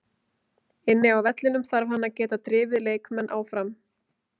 Inni á vellinum þarf hann að geta drifið leikmenn áfram.